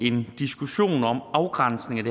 en diskussion om afgrænsningen